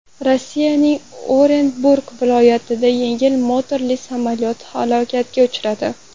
Rossiyaning Orenburg viloyatida yengil motorli samolyot halokatga uchradi.